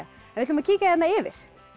við ætlum að kíkja yfir